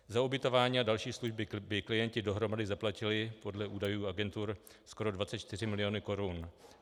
Za ubytování a další služby by klienti dohromady zaplatili podle údajů agentur skoro 24 mil. korun.